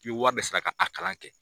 I bɛ wari de sara ka a kalan kɛ.